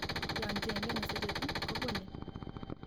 Yonchenge nesereti kobole